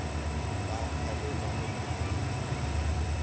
ga kgalema go na le